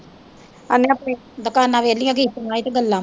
ਦੁਕਾਨਾਂ ਵਿਹਲੀਆਂ ਕੀਤੀਆਂ ਸੀ ਤੇ ਗੱਲਾਂ